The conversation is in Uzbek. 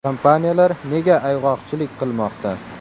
Kompaniyalar nega ayg‘oqchilik qilmoqda?